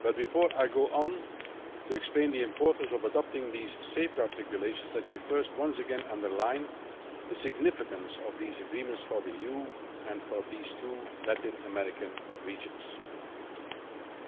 But before I go on to explain the importance of adopting these safeguard regulations, let me first once again underline the significance of these agreements for the EU and for these two Latin American regions.